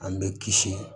An bɛ kisi